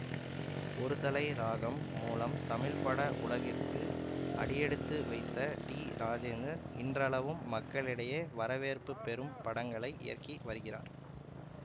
ஒரு தலை ராகம் மூலம் தமிழ்பட உலகிற்குள் அடியெடுத்து வைத்த டிராஜேந்தர் இன்றளவும் மக்களிடையே வரவேற்பு பெரும் படங்களை இயக்கி வருகிறார்